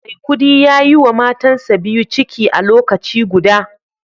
maikudi yayiwa matansa biyu ciki a lokaci guda